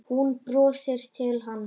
Hún brosir til hans.